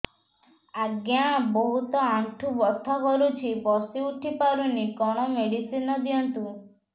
ଆଜ୍ଞା ବହୁତ ଆଣ୍ଠୁ ବଥା କରୁଛି ବସି ଉଠି ପାରୁନି କଣ ମେଡ଼ିସିନ ଦିଅନ୍ତୁ